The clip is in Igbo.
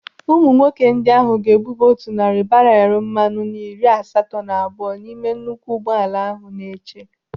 Ụmụ nwoke ndị ahụ ga-ebuba otu narị barelu mmanụ na iri asatọ na abụọ n'ime nnukwu ụgbọala ahụ na-eche.